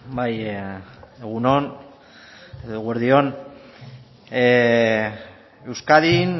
bai egun on eguerdi on euskadin